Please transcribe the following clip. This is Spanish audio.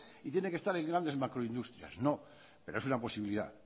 y tiene que estar en grandes macroindustrias no pero es una posibilidad